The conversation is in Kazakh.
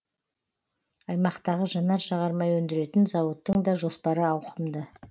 аймақтағы жанар жағармай өндіретін зауыттың да жоспары ауқымды